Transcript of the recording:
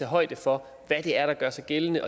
højde for hvad det er der gør sig gældende